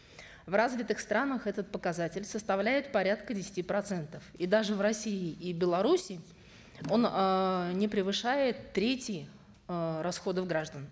в развитых странах этот показатель составляет порядка десяти процентов и даже в россии и беларуси он эээ не превышает трети э расходов граждан